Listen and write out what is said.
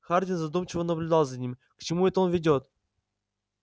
хардин задумчиво наблюдал за ним к чему это он ведёт